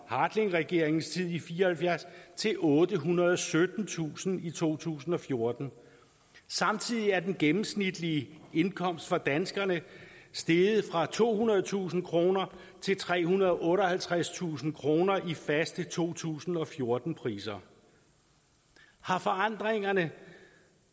hartlingregeringens tid i nitten fire og halvfjerds til ottehundrede og syttentusind i to tusind og fjorten samtidig er den gennemsnitlige indkomst for danskerne steget fra tohundredetusind kroner til trehundrede og otteoghalvtredstusind kroner i faste to tusind og fjorten priser har forandringerne